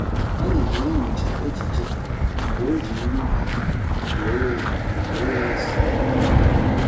Anyị na-enyocha ejije mgbe o ji nri bata wee wee sonyere anyị.